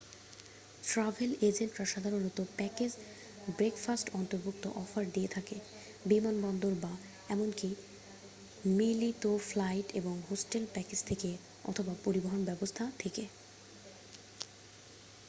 Travel এজেন্টরা সাধারণত package breakfast অন্তর্ভুক্ত অফার দিয়ে থাকে বিমানবন্দর বা এমনকি মিলিত ফ্লাইট এবং হোটেল প্যাকেজ থেকে অথবা পরিবহন ব্যবস্থা থেকে ।